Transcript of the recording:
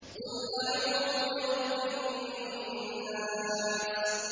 قُلْ أَعُوذُ بِرَبِّ النَّاسِ